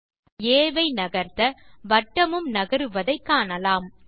புள்ளி ஆ ஐ நகர்த்த வட்டமும் நகருவதை காணலாம்